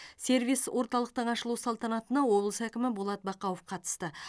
сервис орталықтың ашылу салтанатына облыс әкімі болат бақауов қатысты